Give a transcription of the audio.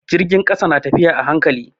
Jirgin ƙasa na tafiya a hankali.